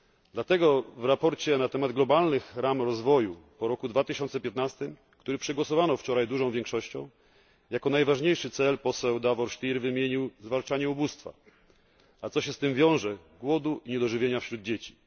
Dlatego w sprawozdaniu na temat globalnych ram rozwoju po roku 2015, który przegłosowano wczoraj dużą większością, jako najważniejszy cel poseł Davor Stier wymienił zwalczanie ubóstwa, a co się z tym wiąże głodu, niedożywienia wśród dzieci.